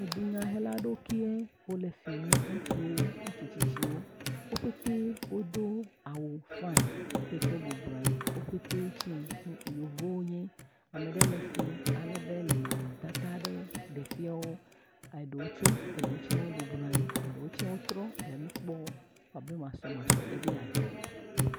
Dunyahelawo kee wole fi nye ŋutsuwo, ŋutsu tsitsiuwo wo pete wodo awu fai eyi ke wo bɔbɔ nɔ anyi, wo pete tse yevuwo wonye, ame ɖe le fi alebe ele nɔnɔmetata aɖe ɖe fia wo eɖewo ts